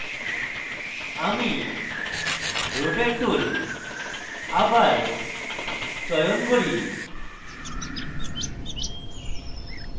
আমি rotate tool আবার চয়ন করি